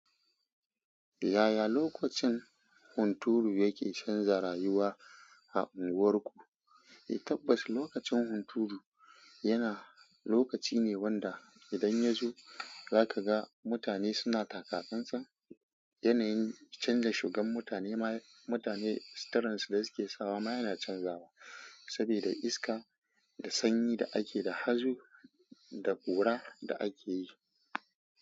Yaya lokacin hunturu yake canza rayuwa a unguwarku? Tabbas lokacin hunturu yana lokaci ne wanda idan ya zo zaka ga mutane suna taka ƙanƙan, yanayin canza shigan mutane, mutane suturan su da suke sawa ma yana canzawa saboda iska da sanyi da ake, da hazo da ƙura da ake yi.